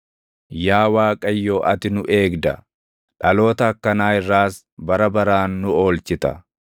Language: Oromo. Yaa Waaqayyo ati nu eegda; dhaloota akkanaa irraas bara baraan nu oolchita.